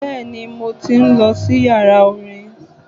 Bẹ́ẹ̀ni, mo tí ń lọ sí yàrá orin.